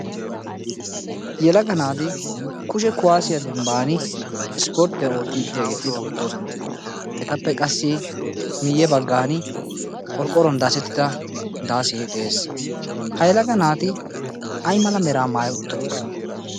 Yelaga naati kushe kuwaasiya dembbaani ispporttiya oottiiddi diyageeti beettoosona. Etappe qassi miyye baggaani qorqqoruwan daasettida daasee de"es. Ha yelaga naati ayi mala meraa maayi uttidonaa?